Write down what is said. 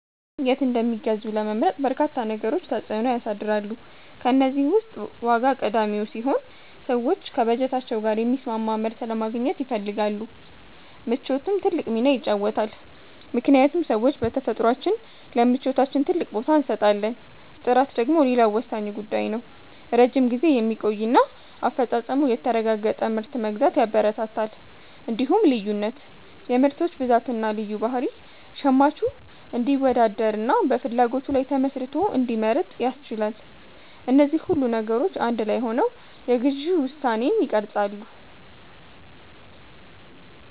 የት እንደሚገዙ ለመምረጥ በርካታ ነገሮች ተጽዕኖ ያሳድራሉ። ከእነዚህ ውስጥ ዋጋ ቀዳሚው ሲሆን፣ ሰዎች ከበጀታቸው ጋር የሚስማማ ምርት ለማግኘት ይፈልጋሉ። ምቾትም ትልቅ ሚና ይጫወታልምክንያቱም ሰዎች በተፈጥሯችን ለምቾታችን ትልቅ ቦታ እንሰጣለን። ጥራት ደግሞ ሌላው ወሳኝ ጉዳይ ነው፤ ረጅም ጊዜ የሚቆይና አፈጻጸሙ የተረጋገጠ ምርት መግዛት ያበረታታል። እንዲሁም ልዩነት (የምርቶች ብዛትና ልዩ ባህሪ) ሸማቹ እንዲወዳደርና በፍላጎቱ ላይ ተመስርቶ እንዲመርጥ ያስችላል። እነዚህ ሁሉ ነገሮች አንድ ላይ ሆነው የግዢ ውሳኔን ይቀርጻሉ።